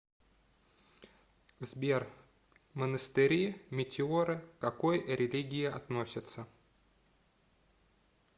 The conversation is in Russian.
сбер монастыри метеоры к какой религии относится